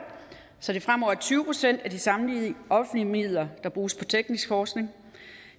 så det fremover er tyve procent af samtlige offentlige midler der bruges på teknisk forskning